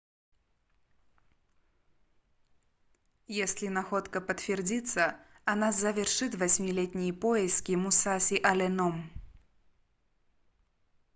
если находка подтвердится она завершит восьмилетние поиски мусаси алленом